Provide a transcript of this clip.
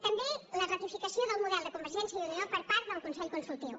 també la ratificació del model de convergència i unió per part del consell consultiu